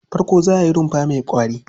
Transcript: Farko za ka yi rumfa mai ƙwari.